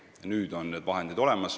Nüüd on vahendid olemas.